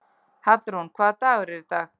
Hallrún, hvaða dagur er í dag?